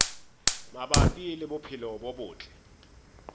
mabapi le bophelo bo botle